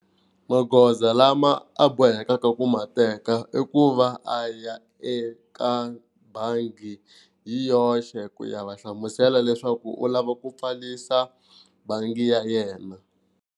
Magoza lama a bohekaka ku ma teka i ku va a ya eka bangi hi yoxe ku ya va hlamusela leswaku u lava ku pfalisa bangi ya yena.